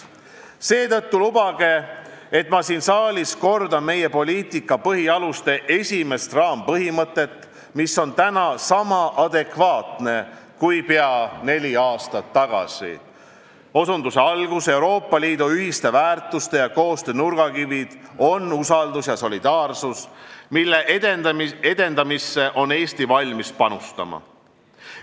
Seetõttu lubage, et ma siin saalis kordan meie poliitika põhialuste esimest raampõhimõtet, mis on täna sama adekvaatne kui pea neli aastat tagasi: "Euroopa Liidu ühiste väärtuste ja koostöö nurgakivid on usaldus ja solidaarsus, mille edendamisse on Eesti valmis panustama.